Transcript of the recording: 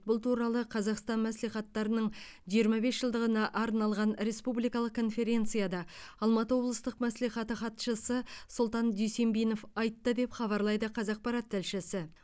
бұл туралы қазақстан мәслихаттарының жиырма бес жылдығына арналған республикалық конференцияда алматы облыстық мәслихаты хатшысы сұлтан дүйсенбинов айтты деп хабарлайды қазақпарат тілшісі